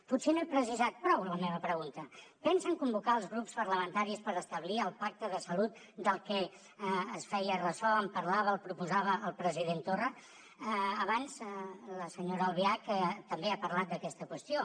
potser no he precisat prou la meva pregunta pensen convocar els grups parlamentaris per establir el pacte de salut del que es feia ressò en parlava el proposava el president torra abans la senyora albiach també ha parlat d’aquesta qüestió